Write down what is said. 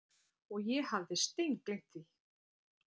Og ég hafði steingleymt því.